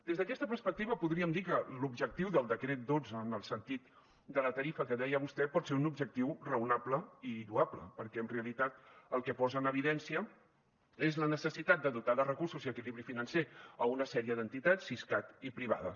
des d’aquesta perspectiva podríem dir que l’objectiu del decret dotze en el sentit de la tarifa que deia vostè pot ser un objectiu raonable i lloable perquè en realitat el que posa en evidència és la necessitat de dotar de recursos i equilibri financer una sèrie d’entitats siscat i privades